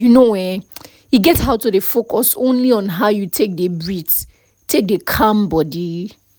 you know[um]e get how to dey focus only on how you take dey breath take dey calm body